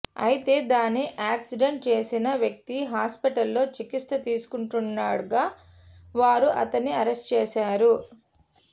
అయితే దాన్ని యాక్సిడెంట్ చేసిన వ్యక్తి హాస్పిటల్లో చికిత్స తీసుకుంటుండగా వారు అతన్ని అరెస్టు చేశారు